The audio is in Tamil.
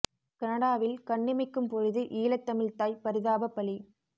கனடாவில் கண்ணிமைக்கும் பொழுதில் ஈழத் தமிழ் தாய் பரிதாப பலி